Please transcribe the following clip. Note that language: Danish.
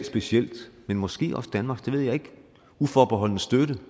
specielt usas men måske også danmarks det ved jeg ikke uforbeholdne støtte